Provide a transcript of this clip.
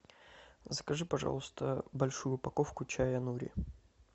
закажи пожалуйста большую упаковку чая нури